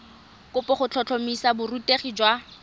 kopo go tlhotlhomisa borutegi jwa